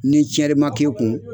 Ni tiɲɛli ma k'i kun